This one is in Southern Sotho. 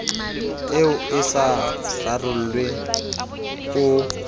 eo e sa rarollwe o